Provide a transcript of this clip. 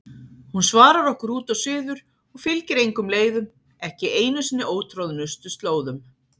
Hún svarar okkur út og suður og fylgir engum leiðum, ekki einu sinni ótroðnustu slóðum.